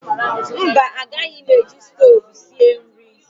Mba agaghị m eji stoovú wee sie nri